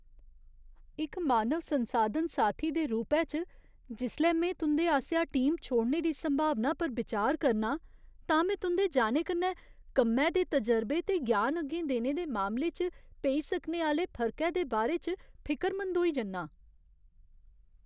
इक मानव संसाधन साथी दे रूपै च, जिसलै में तुं'दे आसेआ टीम छोड़ने दी संभावना पर बिचार करना आं, तां में तुं'दे जाने कन्नै कम्मै दे तजरबे ते ज्ञान अग्गें देने दे मामले च पेई सकने आह्‌ले फर्कै दे बारे च फिकरमंद होई जन्नां।